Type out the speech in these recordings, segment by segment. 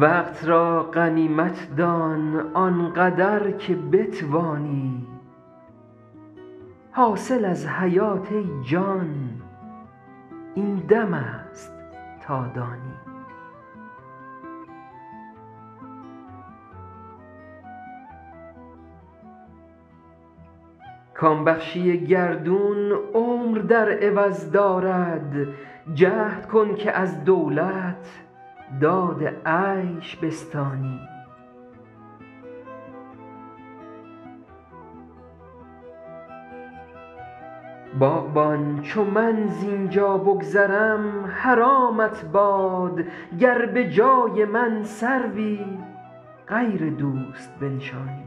وقت را غنیمت دان آن قدر که بتوانی حاصل از حیات ای جان این دم است تا دانی کام بخشی گردون عمر در عوض دارد جهد کن که از دولت داد عیش بستانی باغبان چو من زین جا بگذرم حرامت باد گر به جای من سروی غیر دوست بنشانی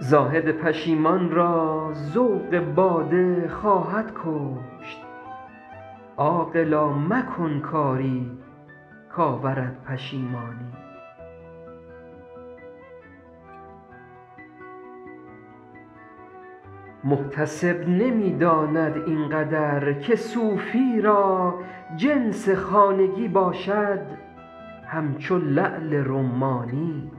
زاهد پشیمان را ذوق باده خواهد کشت عاقلا مکن کاری کآورد پشیمانی محتسب نمی داند این قدر که صوفی را جنس خانگی باشد همچو لعل رمانی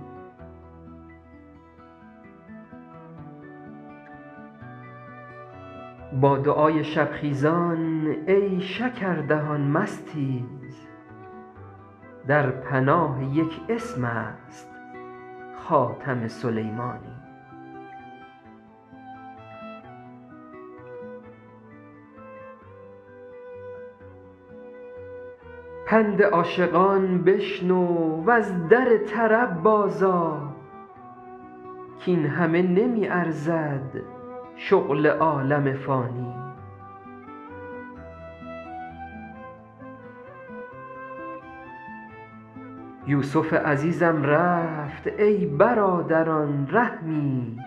با دعای شب خیزان ای شکردهان مستیز در پناه یک اسم است خاتم سلیمانی پند عاشقان بشنو و از در طرب بازآ کاین همه نمی ارزد شغل عالم فانی یوسف عزیزم رفت ای برادران رحمی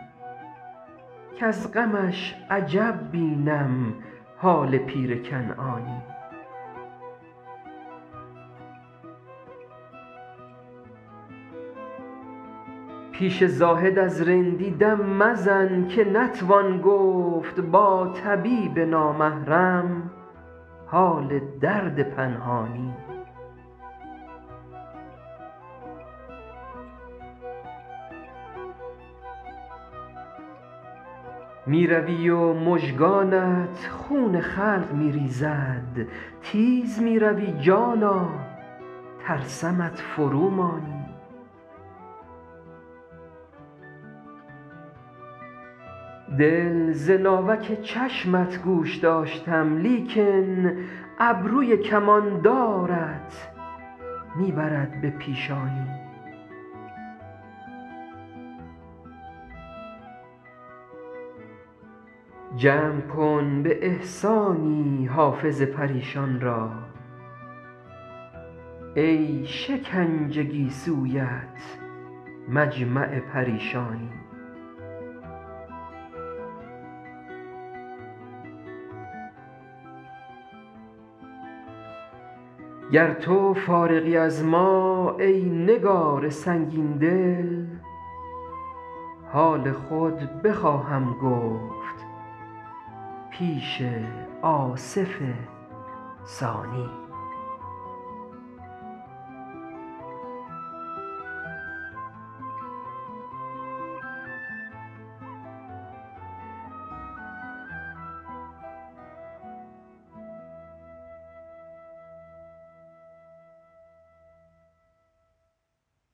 کز غمش عجب بینم حال پیر کنعانی پیش زاهد از رندی دم مزن که نتوان گفت با طبیب نامحرم حال درد پنهانی می روی و مژگانت خون خلق می ریزد تیز می روی جانا ترسمت فرومانی دل ز ناوک چشمت گوش داشتم لیکن ابروی کماندارت می برد به پیشانی جمع کن به احسانی حافظ پریشان را ای شکنج گیسویت مجمع پریشانی گر تو فارغی از ما ای نگار سنگین دل حال خود بخواهم گفت پیش آصف ثانی